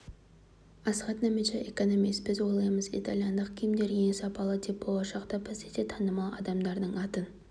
асхат нәметша экономист біз ойлаймыз италяндық киімдер ең сапалы деп болашақта бізде де танымал адамдардың атын